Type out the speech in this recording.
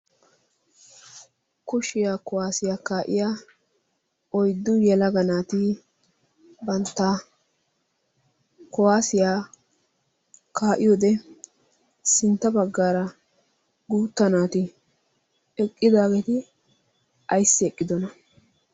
kushiyaa kuwaasiyaa kaa7iya oiddu yalaga naati bantta kowaasiyaa kaa7iyode sintta baggaara guutta naati eqqidaageeti aissi eqqidona?